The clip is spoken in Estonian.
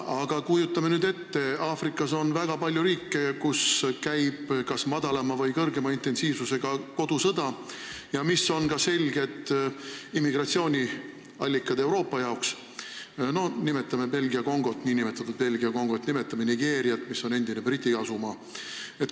Aga kujutame nüüd ette: Aafrikas on väga palju riike, kus käib kas väiksema või suurema intensiivsusega kodusõda ja mis ilmselgelt on Euroopa jaoks immigratsiooniallikad – näiteks nn Belgia Kongo, näiteks Nigeeria, mis on endine Briti asumaa.